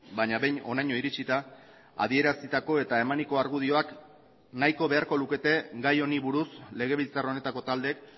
baina behin honaino iritsita adierazitako eta emaniko argudioak nahiko beharko lukete gai honi buruz legebiltzar honetako taldeek